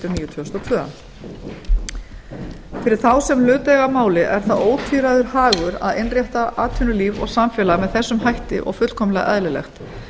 níu tvö þúsund og tvö fyrir þá sem hlut eiga að máli er það ótvíræður hagur að innrétta atvinnulíf og samfélag með þessum hætti og fullkomlega eðlilegt